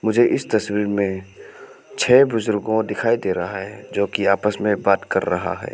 मुझे इस तस्वीर में छे बुजुर्गों दिखाई दे रहा है जो कि आपस में बात कर रहा है।